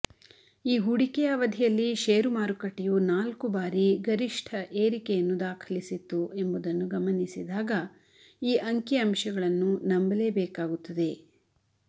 ಈ ಹೂಡಿಕೆಯ ಅವಧಿಯಲ್ಲಿ ಷೇರು ಮಾರುಕಟ್ಟೆಯು ನಾಲ್ಕು ಬಾರಿ ಗರಿಷ್ಠ ಏರಿಕೆಯನ್ನು ದಾಖಲಿಸಿತ್ತು ಎಂಬುದನ್ನು ಗಮನಿಸಿದಾಗ ಈ ಅಂಕಿಅಂಶಗಳನ್ನು ನಂಬಲೇಬೇಕಾಗುತ್ತದೆ